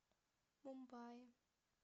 мумбаи